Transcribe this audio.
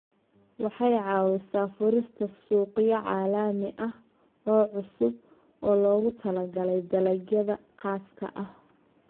Waxay ka caawisaa furista suuqyo caalami ah oo cusub oo loogu talagalay dalagyada khaaska ah.